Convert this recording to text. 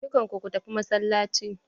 Dukan ku ku tafi masallaci!